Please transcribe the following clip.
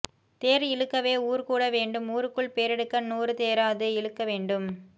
தேர் இழுக்கவே ஊர் கூட வேண்டும் ஊருக்குள் பேரெடுக்க நூறு தேராது இழுக்கவேண்டும்